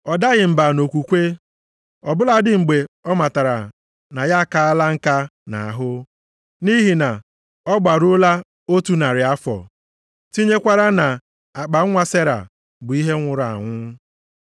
Ọ daghị mba nʼokwukwe ọ bụladị mgbe ọ matara na ya akala nka nʼahụ, nʼihi na ọ gbaruola otu narị afọ, tinyekwara na akpanwa Sera bụ ihe nwụrụ anwụ.